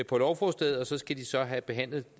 på lovforslaget og så skal de så have behandlet